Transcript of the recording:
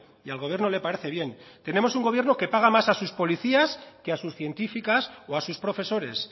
y al gobierno le parece bien tenemos un gobierno que paga más a sus policías que a sus científicas o a sus profesores